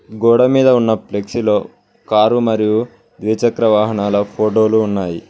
గోడ మీద ఉన్న ఫ్లెక్సీలో కారు మరియు ద్విచక్ర వాహనాల ఫోటోలు ఉన్నాయి.